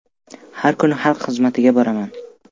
Har kuni xalq xizmatiga boraman.